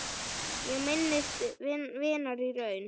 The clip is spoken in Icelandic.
Ég minnist vinar í raun.